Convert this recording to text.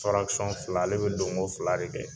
fila ale bɛ donko fila de kɛ.